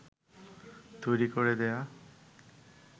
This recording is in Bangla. তৈরি করে দেয়া